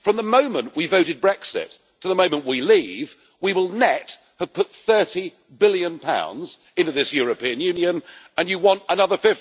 From the moment we voted Brexit to the moment we leave, we will have put GBP 30 billion net into this European Union, and you want another